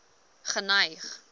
geneig